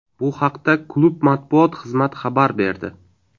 Bu haqda klub matbuot xizmat xabar berdi .